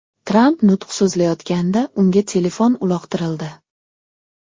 Tramp nutq so‘zlayotganda unga telefon uloqtirildi .